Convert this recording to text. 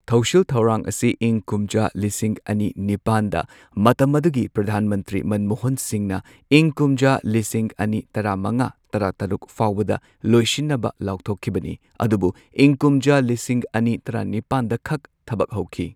ꯊꯧꯁꯤꯜ ꯊꯧꯔꯥꯡ ꯑꯁꯤ ꯏꯪ ꯀꯨꯝꯖꯥ ꯂꯤꯁꯤꯡ ꯑꯅꯤ ꯅꯤꯄꯥꯟꯗ ꯃꯇꯝ ꯑꯗꯨꯒꯤ ꯄ꯭ꯔꯙꯥꯟ ꯃꯟꯇ꯭ꯔꯤ ꯃꯟꯃꯣꯍꯟ ꯁꯤꯡꯍꯅ ꯏꯪ ꯀꯨꯝꯖꯥ ꯂꯤꯁꯤꯡ ꯑꯅꯤ ꯇꯔꯥꯃꯉꯥ ꯇꯔꯥꯇꯔꯨꯛ ꯐꯥꯎꯕꯗ ꯂꯣꯏꯁꯤꯟꯅꯕ ꯂꯥꯎꯊꯣꯛꯈꯤꯕꯅꯤ꯫ ꯑꯗꯨꯕꯨ ꯏꯪ ꯀꯨꯝꯖꯥ ꯂꯤꯁꯤꯡ ꯑꯅꯤ ꯇꯔꯥꯅꯤꯄꯥꯟꯗꯈꯛ ꯊꯕꯛ ꯍꯧꯈꯤ꯫